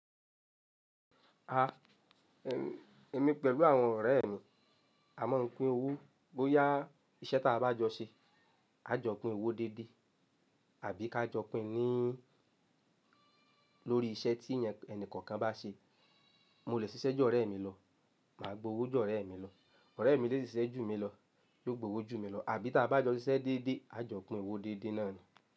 A, ẹm, èmi pẹ̀lú àwọn ọ̀rẹ́ mi a máa ń pín owó bóyá iṣẹ́ tí a bá jọ ṣe, a jọ pín owó déédé, àbí ká jọ pín ní, lórí iṣẹ́ tí ẹnìkankan bá ṣe. Mo lè sisẹ́ ju ọ̀rẹ́ mi lọ, màá gbowó ju ọ̀rẹ́ mi lọ. Ọ̀rẹ́ mi lè ṣiṣẹ́ jù mí lọ, yóò gbowó jù mí lọ. Àbí tí a bá jọ ṣiṣẹ́ déédé, a jọ pín owó déédé náà ni.